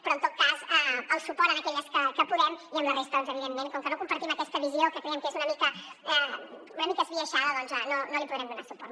però en tot cas el suport a aquelles que podem i a la resta evidentment com que no compartim aquesta visió que creiem que és una mica esbiaixada doncs no li podrem donar suport